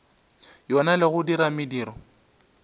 yona le go dira mediro